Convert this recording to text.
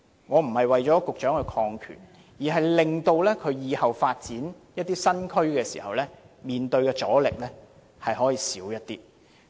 我並非為局長擴權，而是令局長往後發展新區時，所面對的阻力減少。